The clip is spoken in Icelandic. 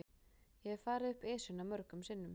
Ég hef farið upp Esjuna mörgum sinnum.